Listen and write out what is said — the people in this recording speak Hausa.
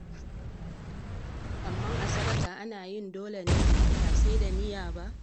Amma a sadaka ana yin dole ne? Ba sai da niyya ba?